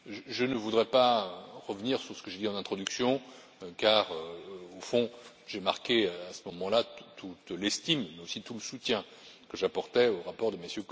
Je ne voudrais pas revenir sur ce que j'ai dit en introduction car, au fond, j'ai marqué à ce moment là toute l'estime et tout le soutien que j'apportais au rapport de